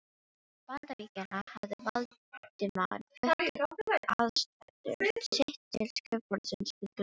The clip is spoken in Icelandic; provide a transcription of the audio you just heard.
Bandaríkjanna, hafði Valdimar flutt aðsetur sitt til skrifborðsins við gluggann.